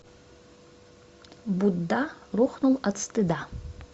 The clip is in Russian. будда рухнул от стыда